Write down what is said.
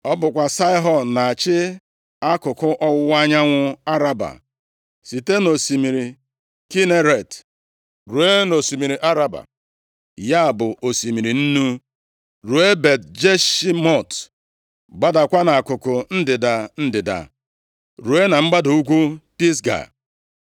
Ọ bụkwa Saịhọn na-achị akụkụ ọwụwa anyanwụ Araba site nʼosimiri Kineret ruo nʼosimiri Araba (ya bụ, Osimiri Nnu), ruo Bet-Jeshimọt, gbadaakwa akụkụ ndịda ndịda ruo na mgbada ugwu Pisga.